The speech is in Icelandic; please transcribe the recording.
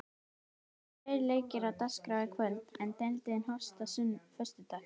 Það eru tveir leikir á dagskrá í kvöld, en deildin hófst á föstudag.